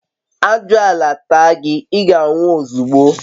ajuala taa gi, iga nwu ozugbo